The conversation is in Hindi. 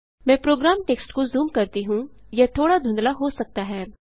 मैं प्रोग्राम टेक्स्ट को जूम करती हूँयह थोड़ा धुंधला हो सकता है